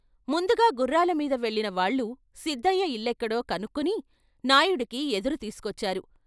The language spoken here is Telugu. ముందుగా గుర్రాలమీద వెళ్ళినవాళ్ళు సిద్దయ్య ఇల్లెక్కడో కనుక్కుని నాయుడుకి ఎదురు తీసుకొచ్చారు.